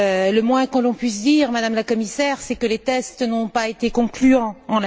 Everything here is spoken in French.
Le moins que l'on puisse dire, Madame la Commissaire, c'est que les tests n'ont pas été concluants à cet égard.